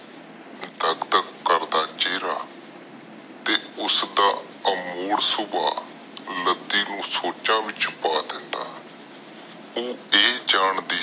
ਦਾਗ ਦਾਗ ਕਰਦਾ ਚੇਰਾ ਤੇ ਉਸਦਾ ਅਮੋੜ ਸੁਬਹ ਲੱਦੀ ਨੂੰ ਸੋਚ ਵਿਚ ਪਾ ਦਿੰਦਾ ਉਹ ਜਾਂਦੀ ਸੀ